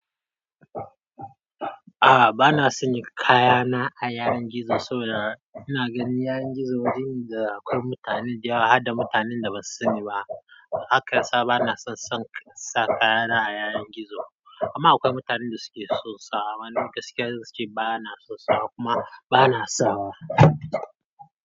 A'a bana sanya kayana a yanar gizo saboda ina ganin yanar gizo wajen ne da akwai mutanen da yawa har da mutanen da ba su sani ba. Haka ya sa bana son sa kayana a yanar gizo. Kuma akwai mutanen da suke son sawa. Wani gaske suke, bana son sawa kuma bana sawa.